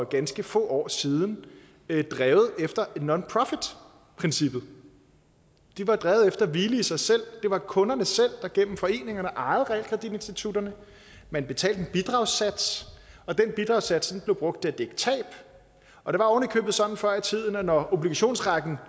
ganske få år siden drevet efter nonprofit princippet de var drevet efter hvile i sig selv det var kunderne selv der gennem foreninger ejede realkreditinstitutterne man betalte en bidragssats og den bidragssats blev brugt til at dække tab og det var ovenikøbet sådan før i tiden at når obligationsrækken